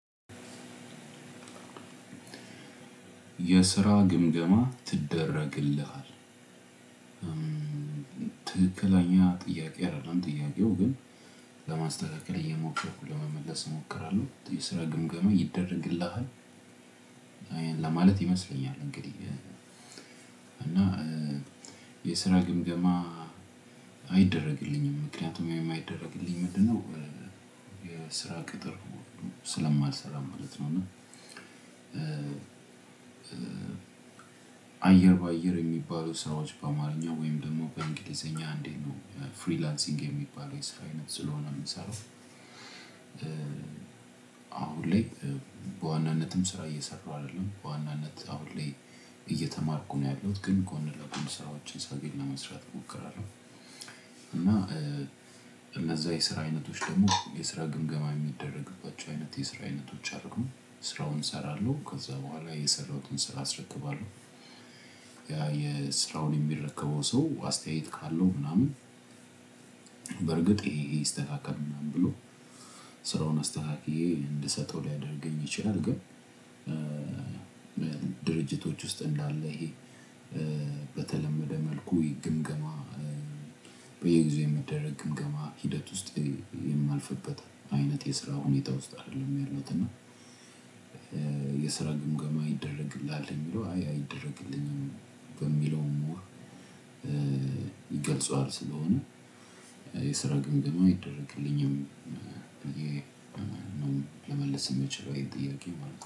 የስራ ግምገማ ትደረግልሃል። ትክክለኛ ጥያቄ አይደለም ጥያቄው ግን ለማስተካከል እየሞከርኩ ለመመለስ እሞክራለሁ። የስራ ግምገማ ይደረግልሃል። ለማለት ይመስለኛል እንግዲህ እና የስራ ግምገማ አይደረግልኝም ምክንያቱም የማይደረግልኝ ምንድነው? የስራ ቅጥር ስለማልሰራ ማለት ነው። እና አየር በአየር የሚባሉ ስራዎች በአማርኛ ወይም ደግሞ በእንግሊዘኛ አንዴት ነው? ፍሪላንሲንግ የሚባለው የስራ አይነት ስለሆነ የምሰራው። አሁን ላይ በዋናነትም ስራ እየሰራሁ አይደለም በዋናነት አሁን ላይ እየተማርኩ ነው ያለሁት ግን ጎን ለጎን ስራዎችን ሳገኝ ለመስራት እሞክራለሁ። እና እነዛ የስራ አይነቶች ደግሞ የስራ ግምገማ የሚደረግባቸው አይነት የስራ አይነቶች አደሉም ስራውን እሰራለሁ ከዛ በኋላ የሰራሁትን ስራ አስረክባለሁ። የስራውን የሚረከበው ሰው አስተያየት ካለው ምናምን። በርግጥ ይሄ ይሄ ይስተካከል ምናምን ብሎ ስራውን አስተካክዬ እንድሰጠው ሊያደርገኝ ይችላል። ግን። ድርጅቶች ውስጥ እንዳለ ይሄ በተለመደ መልኩ የግምገማ በየጊዜው የሚደረግ ግምገማ ሂደት ውስጥ የማልፍበት አይነት የስራ ሁኔታ ውስጥ አይደለም ያለሁት። እና የስራ ግምገማ ይደረግልሃል የሚለው አይ አይደረግልኝም። በሚለው ሞር ይገልጸዋል ስለሆነ የስራ ግምገማ አይደረግልኝም። ልመልስ የምችለው ይሄን ጥያቄ ማለት ነው